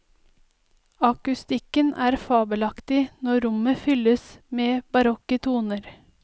Akustikken er fabelaktig når rommet fylles med barokke toner.